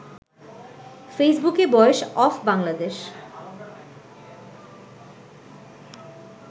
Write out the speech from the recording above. ফেইসবুকে boys of Bangladesh